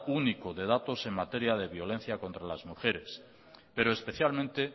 único de datos en materia de violencia contra las mujeres pero